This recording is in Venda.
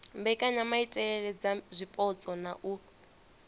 mbekanyamaitele dza zwipotso na u